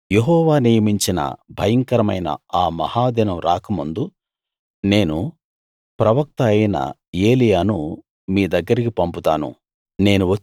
యెహోవా నియమించిన భయంకరమైన ఆ మహా దినం రాకముందు నేను ప్రవక్త అయిన ఏలీయాను మీ దగ్గరికి పంపుతాను